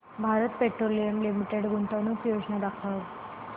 Bharat petroleum limited गुंतवणूक योजना दाखव